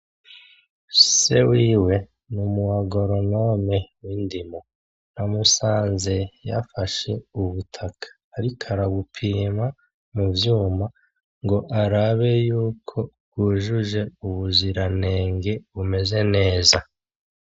Se wiwe ni umu agoronome w'indimo. Namusanze yafashe ubutaka ariko arabupima mu vyuma ngo arabe yuko bwujuje ubuziranenge, bumeze neza.